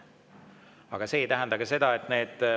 Aga see ei tähenda seda, et need …